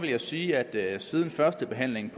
jeg sige at siden første behandling